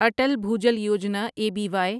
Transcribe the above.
Atal Bhujal Yojana A B Y